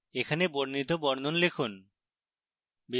এখানে বর্ণিত বর্ণন লিখুন